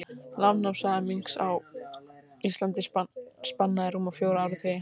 Landnámssaga minks á Íslandi spannaði rúma fjóra áratugi.